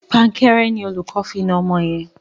Pankẹ́rẹ́ ni olùkó fi na ọmọ yẹn.